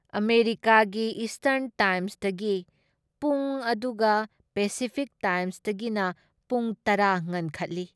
ꯑꯃꯦꯔꯤꯀꯥꯒꯤ ꯏꯁꯇꯔꯟ ꯇꯥꯏꯝꯁꯇꯒꯤ ꯄꯨꯡ ꯑꯗꯨꯒ ꯄꯦꯁꯤꯐꯤꯛ ꯇꯥꯏꯝꯁꯇꯒꯤꯅ ꯄꯨꯡ ꯇꯔꯥ ꯉꯟꯈꯠꯂꯤ ꯫